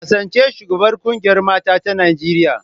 Kasance shugabar kungiyar mata ta Najeriya.